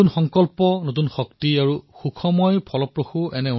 নতুন সংকল্প নতুন উৎসাহ আৰু উল্লেখনীয় ফলাফল